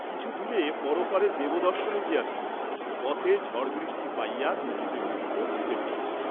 কিছু দূরে পরপারে দেবদর্শনে গিয়াছিল, পথে ঝড় বৃষ্টি পাইয়া ভিজিতে ভিজিতে গৃহে ফিরিল।